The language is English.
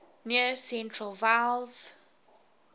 near central vowels